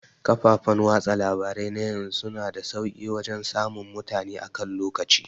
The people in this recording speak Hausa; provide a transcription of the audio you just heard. Kafafan watsa labarai na yanzu suna da sauke wajan samun mutane akan lokaci